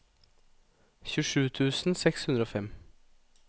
tjuesju tusen seks hundre og fem